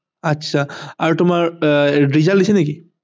আচ্ছা আৰু তোমাৰ result দিছে নেকি